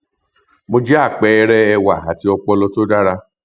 mo jẹ àpẹẹrẹ ẹwà àti ọpọlọ tó dára